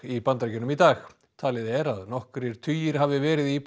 í Bandaríkjunum í dag talið er að nokkrir tugir hafi verið í